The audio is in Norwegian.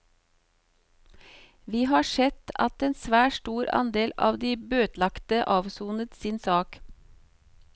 Vi har sett at en svært stor andel av de bøtelagte avsonet sin sak.